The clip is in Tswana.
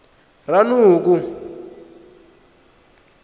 ranoko